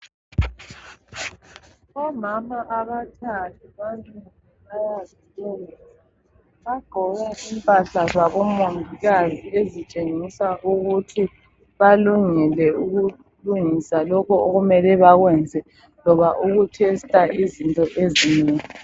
Omama abathathu bamile bayazilungisa. Bagqoke impahla zabomongikazi ezitshengisa ukuthi balungile ukulungisa lokho okumele bakwenze loba ukutesta izinto ezinengi.